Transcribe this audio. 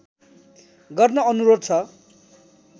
गर्न अनुरोध छ